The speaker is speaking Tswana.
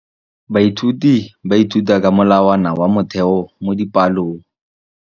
Baithuti ba ithuta ka molawana wa motheo mo dipalong.